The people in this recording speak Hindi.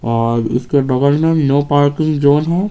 और इसके बगल में नो पार्किंग जोन है।